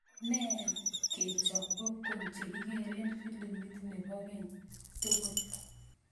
Nen kechop popcorn chegigeren filimit nepo keny tugul